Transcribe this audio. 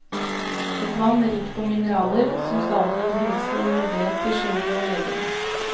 Et vann rikt på mineraler, som stadig gir helse og helbred til sjel og legeme.